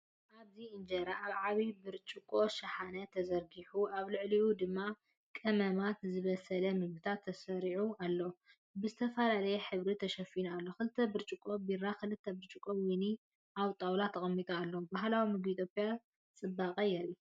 ኣብዚ ኢንጀራ ኣብ ዓቢ ብርጭቆ ሻሓነ ተዘርጊሑ ኣብ ልዕሊኡ ድማ ቀመማትን ዝበሰለ ምግብታት ተሰሪዑ ኣለው፡ ብዝተፈላለየ ሕብሪ ተሸፊኑ ኣሎ። ክልተ ብርጭቆ ቢራን ክልተ ብርጭቆ ወይንን ኣብ ጣውላ ተቐሚጦም ኣለዉ። ባህላዊ መግቢ ኢትዮጵያ ጽባቐ የርኢ።